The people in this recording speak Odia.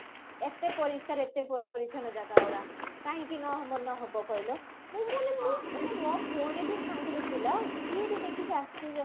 ଏତେ ପରିଷ୍କାର ଏତେ ପରିଚ୍ଛନ ଜାଗା ଗୁଡା କାହିଁକି ନ ମନ ହବ କହିଲ ମୁଁ ମାନେ ମୋ ମାନେ ମୋ ଭଉଣୀ ବି ସାଙ୍ଗରେ ଥିଲା ସିଏ ବି ଦେଖିକି ଆଶ୍ଚର୍ଯ୍ୟ